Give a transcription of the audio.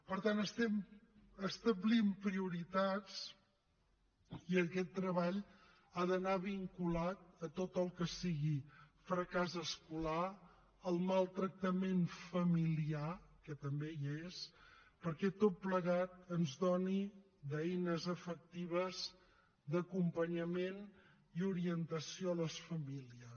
per tant estem establint prioritats i aquest treball ha d’anar vinculat a tot el que sigui fracàs escolar al maltractament familiar que també hi és perquè tot plegat ens doni eines efectives d’acompanyament i orientació a les famílies